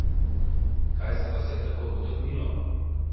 Kaj se vas je tako dotaknilo?